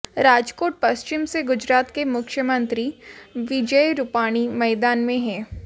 राजकोट पश्चिम से गुजरात के मुख्यमंत्री विजय रुपाणी मैदान में हैं